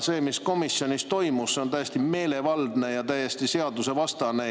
See, mis komisjonis toimus, on täiesti meelevaldne ja täiesti seadusvastane.